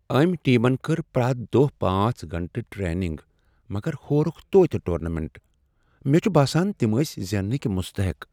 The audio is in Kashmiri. أمۍ ٹیمن کٔر پریتھ دۄہ پانژھ گٲنٛٹہٕ ٹریننگ مگر ہورکھ توتہ ٹورنامنٹ مےٚ چھ باسان تِم ٲسۍ زیننٕکۍ مستحق